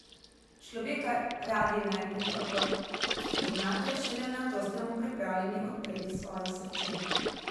Človeka radi najprej dobro spoznate, šele nato ste mu pripravljeni odpreti svoje srce.